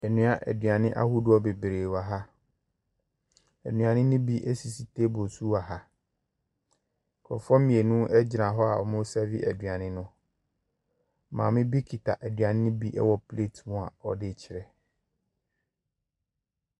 Nnua.. Aduane ahodoɔ bebree wɔ ha. Nnuane no bi sisi table so wɔ ha. Nkrɔfoɔ mmienu gyina hɔ wɔresɛɛve aduane no. Maame bi kita aduane no bi wɔ pleeti mu a ɔde rekyɛ.